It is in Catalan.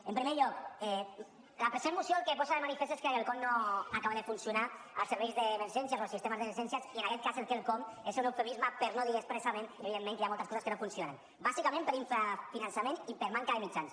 en primer lloc la present moció el que posa de manifest és que quelcom no acaba de funcionar als serveis d’emergència o als sistemes d’emergències i en aquest cas el quelcom és un eufemisme per no dir expressament evidentment que hi ha moltes coses que no funcionen bàsicament per infrafinançament i per manca de mitjans